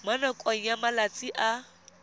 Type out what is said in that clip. mo nakong ya malatsi a